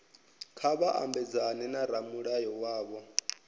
kha vha mabedzane na ramulayo wavho